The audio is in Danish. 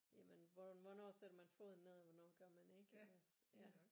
Jamen hvor hvornår sætter man foden ned og hvornår gør man ikke iggås ja